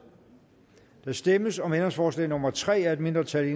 der stemmes om ændringsforslag nummer tre af et mindretal